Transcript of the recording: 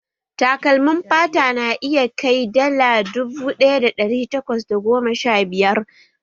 Takalmin fata na iya kai dala dubu ɗaya da ɗari takwas da goma sha biyar